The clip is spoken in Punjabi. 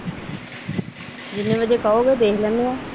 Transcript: ਜਿਨੇ ਬਜੇ ਕਹੋਗੇ ਦੇਖ ਲੈਂਦੇ ਆ।